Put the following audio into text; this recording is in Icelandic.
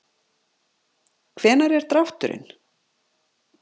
Hvenær er drátturinn?